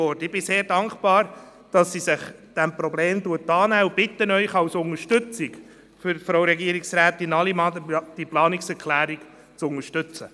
Ich bin sehr dankbar, dass sie sich diesem Problem annimmt und bitte Sie zur Unterstützung von Frau Regierungsrätin Allemann, diese Planungserklärung zu unterstützen.